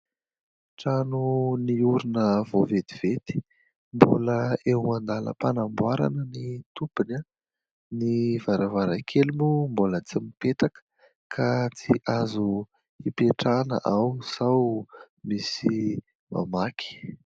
Trano niorina vao vetivety, mbola eo andàlam-panamboarana ny tompony, ny varavarankely moa mbola tsy mipetaka ka tsy azo ipetrahana ao sao misy mamaky.